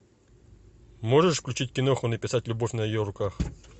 можешь включить киноху написать любовь на ее руках